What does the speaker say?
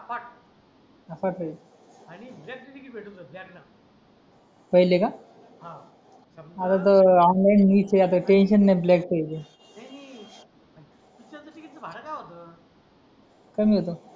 अफाट ये